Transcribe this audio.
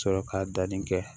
Sɔrɔ ka danni kɛ